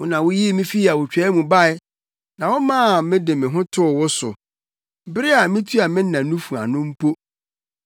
Wo na wuyii me fii awotwaa mu bae na womaa me de me ho too wo so bere a mitua me na nufu ano mpo.